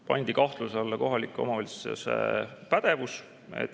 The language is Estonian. Pandi kahtluse alla kohaliku omavalitsuse pädevus.